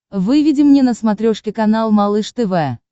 выведи мне на смотрешке канал малыш тв